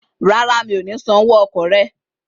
Rárá, mi ò ní san owó ọkọ̀ rẹ